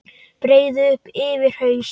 Breiði upp yfir haus.